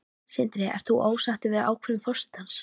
Sindri: Ert þú sáttur við ákvörðun forsetans?